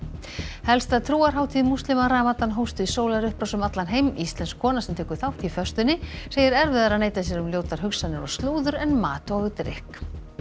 helsta trúarhátíð múslima ramadan hófst við sólarupprás um allan heim íslensk kona sem tekur þátt í föstunni segir erfiðara að neita sér um ljótar hugsanir og slúður en mat og drykk